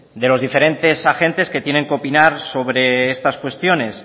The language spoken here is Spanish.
de los diferentes agentes que tienen que opinar sobre estas cuestiones